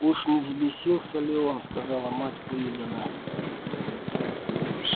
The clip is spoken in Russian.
уж не взбесился ли он сказала мать уидона